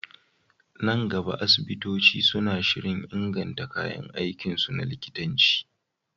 Nan gaba, asibitoci suna shirin inganta kayan aikinsu na likitanci.